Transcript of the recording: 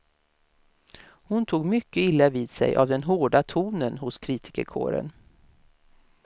Hon tog mycket illa vid sig av den hårda tonen hos kritikerkåren.